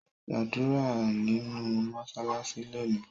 Gbadura ninu mọṣalaṣi loni.